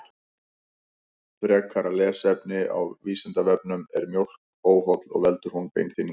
Frekara lesefni á Vísindavefnum: Er mjólk óholl og veldur hún beinþynningu?